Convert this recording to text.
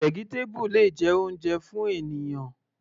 Vegetable le jẹ́ oúnjẹ fún ènìyàn.